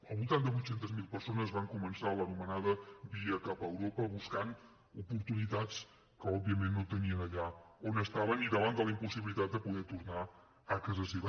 al voltant de vuit cents miler persones van començar l’anomenada via cap a europa buscant oportunitats que òbviament no tenien allà on estaven i davant de la impossibilitat de poder tornar a casa seva